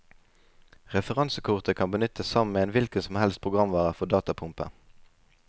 Referansekortet kan benyttes sammen med en hvilket som helst programvare for datapumpe.